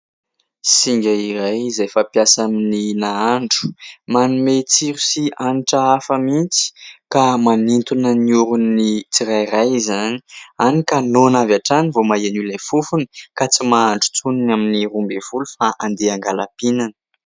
Singa iray izay fampiasa amin'ny nahandro. Manome tsiro sy hanitra hafa mihitsy ka manintona ny orona ny tsirairay izany hany ka noana avy hatrany vao maheno ilay fofony ka tsy mahandry intsony ny amin'ny roa ambin'ny folo fa andeha hangala-pihinana.